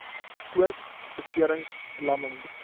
koord beserings verlamming